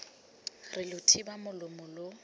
re lo thiba molomo lo